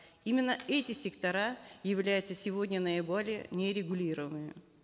именно эти сектора являются сегодня наиболее нерегулируемыми